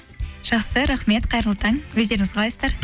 жақсы рахмет қайырлы таң өздеріңіз қалайсыздар